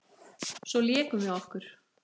Svo lékum við okkur.